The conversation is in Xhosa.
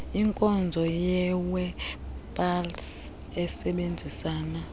inkonzo yewebpals isebenzisana